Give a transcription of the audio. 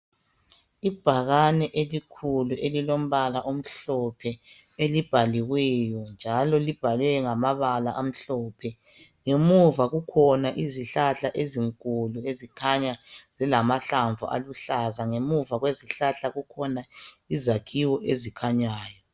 ibhakane elikhulu elilombala omhlophe elikhulu elibhaliweyo njalo libhalwe ngamabala amhlophe ngemuva kukhona izihlahla ezinkulu ezikhanya zilahlamvu aluhlaza ngemuva kwezihlahla kukhona izakhiwo ezikhanyayo